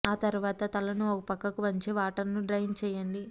ఆ తరువాత తలను ఒక పక్కకు వంచి వాటర్ ను డ్రైన్ చేయండి